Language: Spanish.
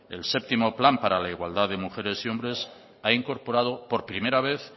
el séptimo plan para la igualdad de mujeres y hombres ha incorporado la primera vez